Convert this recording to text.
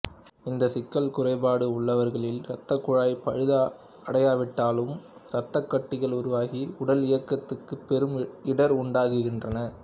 இந்த சிக்கல் குறைபாடு உள்ளவர்களில் இரத்தக்குழாய் பழுதடையாவிட்டாலும் இரத்தக்கட்டிகள் உருவாகி உடலியக்கத்துக்குப் பெரும் இடர் உண்டாக்குகின்றது